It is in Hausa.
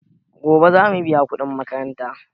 Gobe zamu biya kuɗin makaranta.